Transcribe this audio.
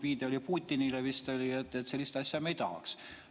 Viide oli vist Putinile, et sellist asja me ei tahaks.